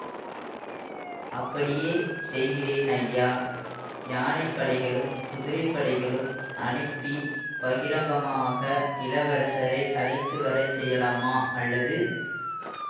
அப்படியே செய்கிறேன் ஐயா யானை படைகளும் குதிரை படைகளும் அனுப்பிப் பகிரங்கமாக இளவரசரை அழைத்து வர செய்யலாமா அல்லது